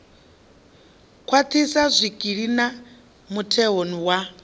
khwaṱhisa zwikili na mutheo wa